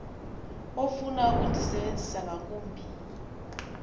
ofuna ukundisebenzisa ngakumbi